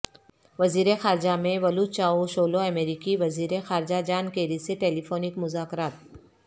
وزیر خارجہ Mevlut Cavusoglu امریکی وزیرخارجہ جان کیری سے ٹیلی فونک مذاکرات